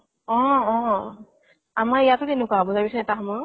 অ অ অ । আমাৰ ইয়াতো তেনেকুৱা হব চাবি চোন এটা সময় ত